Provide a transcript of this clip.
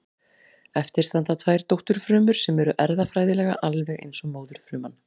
Eftir standa tvær dótturfrumur sem eru erfðafræðilega alveg eins og móðurfruman.